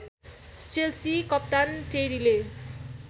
Chelsea कप्तान टेरीले